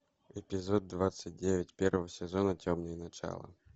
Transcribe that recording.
эпизод двадцать девять первого сезона темные начала